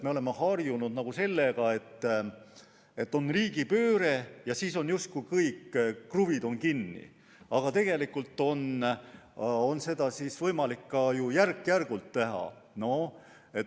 Me oleme harjunud sellega, et on riigipööre ja siis on justkui kõik kruvid kinni, aga tegelikult on seda võimalik ju ka järk-järgult teha.